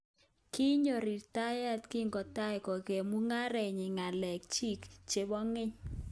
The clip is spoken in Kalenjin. Kinyo ritaya kingotai kong'em mung'arenyi ngalek chiik chebo keny